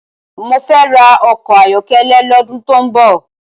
Mó fè rá òkò áyòkélé lòdún tó n bò